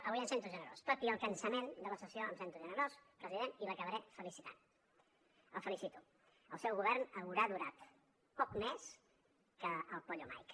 avui em sento generós tot i el cansament de la sessió em sento generós president i l’acabaré felicitant el felicito el seu govern haurà durat poc més que el pollo mike